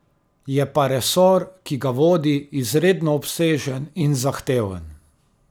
Je pa resor, ki ga vodi, izredno obsežen in zahteven.